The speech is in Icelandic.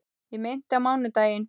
Ég meinti á mánudaginn.